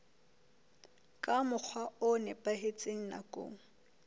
ka mokgwa o nepahetseng nakong